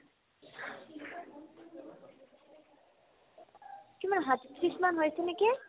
কিমান সাতত্ৰিশমান হৈছে নেকি ?